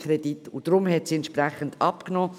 Deshalb hat die Summe entsprechend abgenommen.